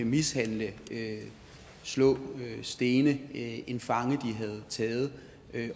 mishandle slå stene en fange de havde taget